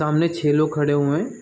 सामने छे लोग खड़े हुए हैं।